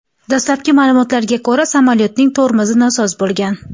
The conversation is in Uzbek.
Dastlabki ma’lumotlarga ko‘ra, samolyotning tormozi nosoz bo‘lgan.